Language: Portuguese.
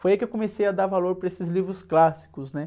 Foi aí que eu comecei a dar valor para esses livros clássicos, né?